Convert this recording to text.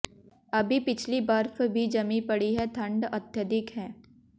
अभी पिछली बर्फ भी जमी पड़ी है ठंड अत्यधिक है